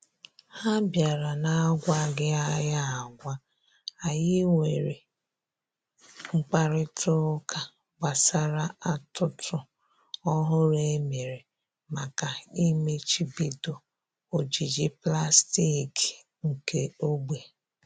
Ha bịara na-agwaghị anyị agwa, anyị nwere mkparịta ụka gbasara atụtụ ọhụrụ e mere maka ịmachibido ojiji pụlastiki nke ogbe